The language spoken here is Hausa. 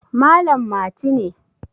Malam Mati ne